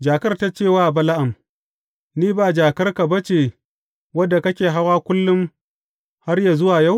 Jakar ta ce wa Bala’am, Ni ba jakarka ba ce wadda kake hawa kullum, har yă zuwa yau?